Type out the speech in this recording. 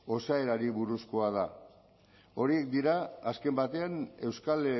osaerari buruzkoa da horiek dira azken batean euskal